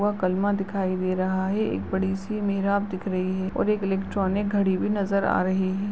वह कलमा दिखाई दे रहा है और एक बड़ी सी मेराब दिख रही है और एक इलेक्ट्रोनिक घड़ी भी नजर आ रही है।